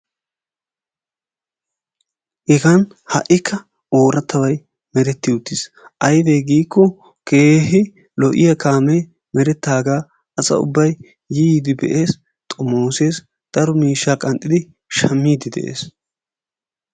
Hegan ha'ikka oorattabay meretti uttiis. Aybee giikko keehi lo'iya kaamee merettaagaa asa ubbay yi yiidi be'ees, xommoosees, daro miishshaa qanxxidi shammiiddi de'ees.